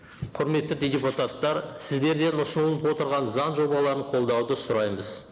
құрметті депутаттар сіздерден ұсынылып отырған заң жобаларын қолдауды сұраймыз